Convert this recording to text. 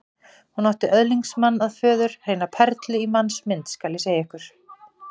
Hún átti öðlingsmann að föður, hreina perlu í mannsmynd, skal ég segja ykkur.